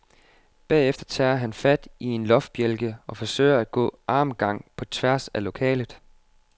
Derefter tager han fat i en loftbjælke, og forsøger at gå armgang på tværs af lokalet.